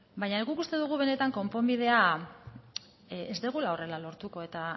baina guk uste dugu benetan konponbidea ez dugula horrela lortuko